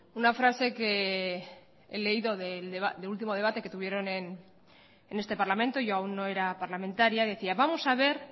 una frase que he leído del último debate que tuvieron en este parlamento yo aún no era parlamentaria decía vamos a ver